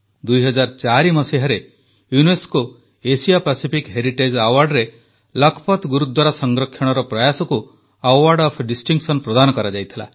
2004 ମସିହାରେ UNESCO Asia Pacific heritage ଆୱାର୍ଡରେ ଲଖପଥ୍ ଗୁରୁଦ୍ୱାରା ସଂରକ୍ଷଣର ପ୍ରୟାସକୁ ଆୱାର୍ଡ ଅଫ ଡିଷ୍ଟିଙ୍ଗସନ୍ ପ୍ରଦାନ କରାଯାଇଥିଲା